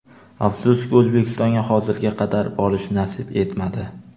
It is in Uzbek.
Afsuski, O‘zbekistonga hozirga qadar borish nasib etmadi.